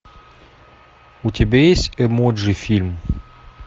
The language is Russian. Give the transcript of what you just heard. у тебя есть эмоджи фильм